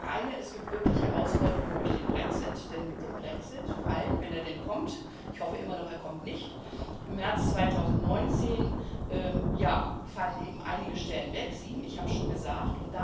Das eine Es gibt wirklich Herausforderungen durch den Brexit, denn mit dem Brexit wenn er denn kommt, ich hoffe immer noch, er kommt nicht fallen im März 2019 eben einige Stellen weg sieben, ich habe es schon gesagt.